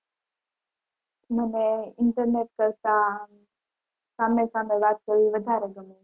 મને internet કરતાં સામે સામે વાત કરવી વધારે ગમે.